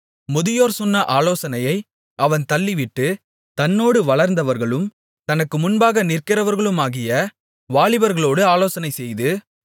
முதியோர் சொன்ன ஆலோசனையை அவன் தள்ளிவிட்டு தன்னோடு வளர்ந்தவர்களும் தனக்கு முன்பாக நிற்கிறவர்களுமாகிய வாலிபர்களோடு ஆலோசனைசெய்து